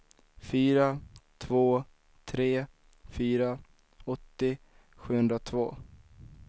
fyra två tre fyra åttio sjuhundratvå